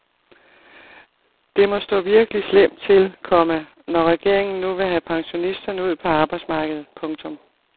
Det må stå virkelig slemt til, komma når regeringen nu vil have pensionisterne ud på arbejdsmarkedet. punktum